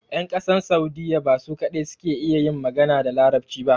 Yan ƙasan Saudiya ba su kadai ke iya yin magana da larabci ba